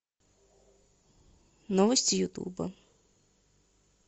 новости ютуба